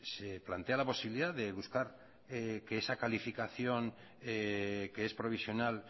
se plantea la posibilidad de buscar que esa calificación que es provisional